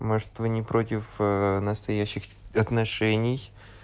может вы не против настоящих отношений